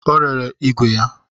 Ọ rere ìgwè ya